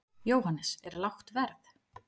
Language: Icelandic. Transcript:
Jóhannes: Er lágt verð?